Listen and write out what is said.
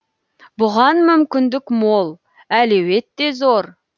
бұған мүмкіндік мол әлеует те зор